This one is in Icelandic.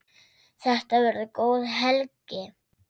Þetta verður góð helgi.